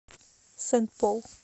сент пол